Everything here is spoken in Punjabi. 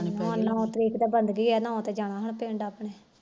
ਨੋ ਤਰੀਕ ਨੋ ਨੂੰ ਜਾਣਾ ਪਿੰਡ ਆਪਣੇ